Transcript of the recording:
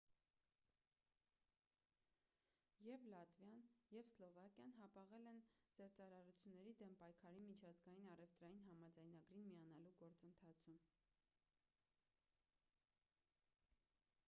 եվ լատվիան և սլովակիան հապաղել են զեղծարարությունների դեմ պայքարի միջազգային առևտրային համաձայնագրին միանալու գործընթացում